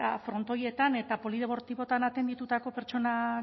frontoietan eta polideportiboetan atenditutako pertsona